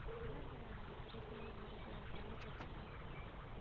இல்லைங்க அடிக்கடி fever வருது அதுதாங்க பிரச்சனை